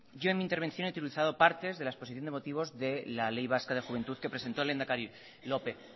yo en mi intervención he utilizado partes de la exposición de motivos de la ley vasca de juventud que presento el lehendakari lópez